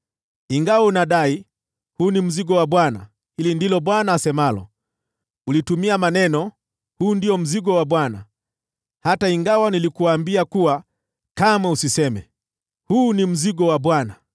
Ingawa unadai, ‘Huu ndio mzigo wa Bwana ,’ hili ndilo Bwana asemalo: Ulitumia maneno, ‘Huu ndio mzigo wa Bwana ,’ hata ingawa nilikuambia kuwa kamwe usiseme, ‘Huu ni mzigo wa Bwana .’